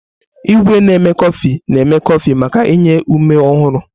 Igwé na-eme kọfị na-eme kọfị maka inye ume ọhụrụ.